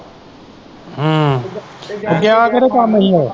ਹਮ ਤੇ ਗਿਆ ਕਿਹੜੇ ਕੰਮ ਹੀ ਉਹ?